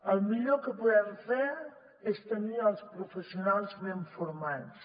el millor que podem fer és tenir els professionals ben formats